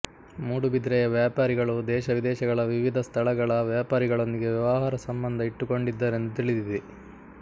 ಮೂಡುಬಿದಿರೆಯ ವ್ಯಾಪಾರಿಗಳು ದೇಶವಿದೇಶಗಳ ವಿವಿಧ ಸ್ಥಳಗಳ ವ್ಯಾಪಾರಿಗಳೊಂದಿಗೆ ವ್ಯವಹಾರ ಸಂಬಂಧ ಇಟ್ಟುಕೊಂಡಿದ್ದರೆಂದು ತಿಳಿದಿದೆ